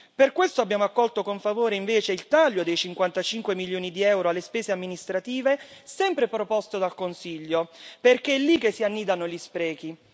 Per questo abbiamo invece accolto con favore il taglio dei 55 milioni di euro alle spese amministrative, sempre proposto dal Consiglio, perché è lì che si annidano gli sprechi.